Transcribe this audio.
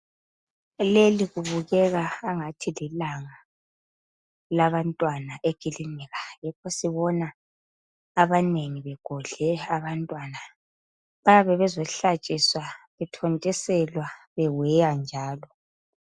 Leli kubukeka angathi lilanga labantwana ekilinika yikho sibona abanengi begodle abantwana. Bayabe bezo hlatshiswa, bethontiselwa beweywa njalo.